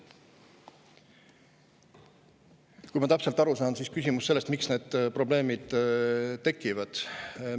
Kui ma sain täpselt aru, siis küsimus oli selle kohta, miks need probleemid tekivad.